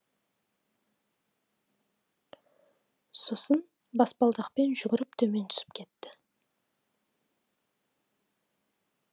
сосын баспалдақпен жүгіріп төмен түсіп кетті